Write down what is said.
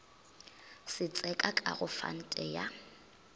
setseka ka go fante ya